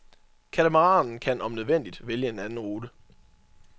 Katamaranen kan om nødvendigt vælge en anden rute.